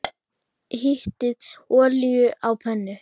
Hitið olíu á pönnu.